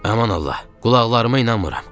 Aman Allah, qulaqlarıma inanmıram!